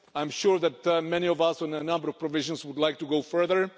I'm sure that many of us, on a number of provisions, would like to go further.